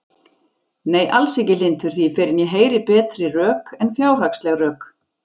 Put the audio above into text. Nei, alls ekki hlynntur því fyrr en ég heyri betri rök en fjárhagsleg rök.